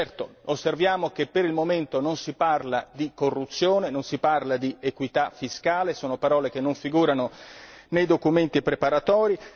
Certo, rileviamo che per il momento non si parla di corruzione o di equità fiscale, parole che non figurano nei documenti preparatori.